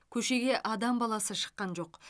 көшеге адам баласы шыққан жоқ